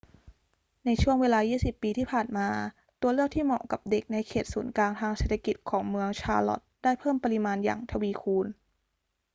ในช่วงเวลา 20 ปีที่ผ่านมา ตัวเลือกที่เหมาะกับเด็กในเขตศูนย์กลางทางเศรษฐกิจของเมืองชาร์ลอตต์ได้เพิ่มปริมาณอย่างทวีคูณ